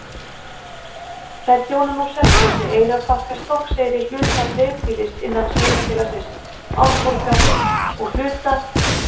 Þær þjóna nú Selfossi, Eyrarbakka, Stokkseyri, hluta dreifbýlis innan sveitarfélagsins Árborgar og hluta